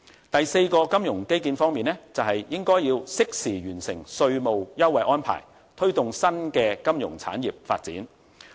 第四個金融基建方面，就是應適時完成稅務優惠安排，推動新的金融產業發展。